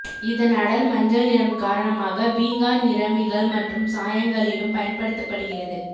இதன் அடர் மஞ்சள் நிறம் காரணமாக பீங்கான் நிறமிகள் மற்றும் சாயங்களிலும் பயன்படுத்தப்படுகிறது